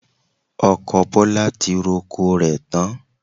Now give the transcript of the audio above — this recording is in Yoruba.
Ọkọ Bọlá ti roko rẹ̀ tán